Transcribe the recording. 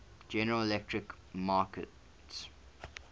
general electric markets